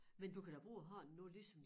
Men du kan da bruge hånden nu ligesom